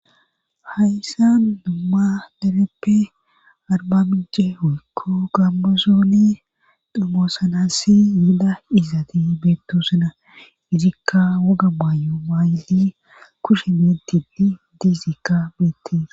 hayssan dumma dereppe arbamice weykko gambuzooni damoosanassi yeda izaati beettosuna izikka woga baayu maayddi kushe me dili diizikka beettee